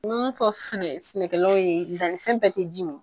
N mun fɔ sɛnɛ sɛnɛkɛlaw ye dannifɛn bɛɛ tɛ ji min.